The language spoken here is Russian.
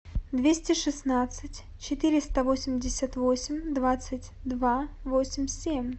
двести шестнадцать четыреста восемьдесят восемь двадцать два восемь семь